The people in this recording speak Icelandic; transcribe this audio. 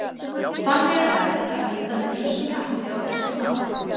Þannig er hægt að líta með ýmsum hætti á þessi mál.